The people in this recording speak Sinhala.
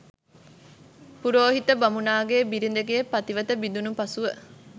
පුරෝහිත බමුණාගේ බිරිඳගේ පතිවත බිඳුණු පසුව,